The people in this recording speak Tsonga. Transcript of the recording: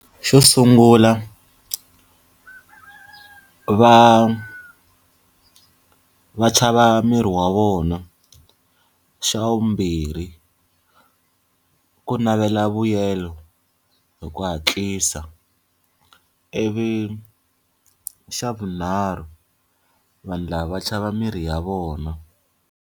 Xo sungula, va va chava miri wa vona. Xa vumbirhi ku navela vuyelo hi ku hatlisa. Ivi xa vunharhu vanhu lava va chava miri ya vona.